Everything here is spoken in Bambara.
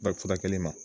Bari furakɛli ma